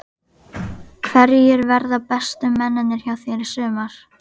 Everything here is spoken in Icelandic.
Hverjir verða bestu mennirnir hjá þér í sumar?